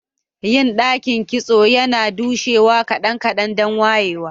Yin dakin kitso yana dushewa kadan-kadan dan wayewa.